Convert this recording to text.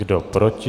Kdo proti?